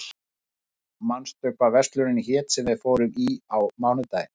Hind, manstu hvað verslunin hét sem við fórum í á mánudaginn?